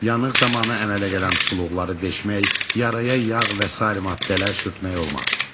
Yanıq zamanı əmələ gələn suluqları deşmək, yaraya yağ və sair maddələr sürtmək olmaz.